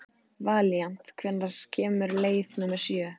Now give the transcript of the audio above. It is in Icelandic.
Valíant, hvenær kemur leið númer sjö?